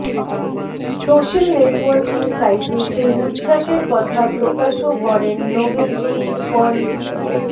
social networking সাইটে সেই উচ্ছ্বাসের কথা প্রকাশও করেননোবেলজয়ী কন